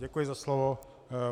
Děkuji za slovo.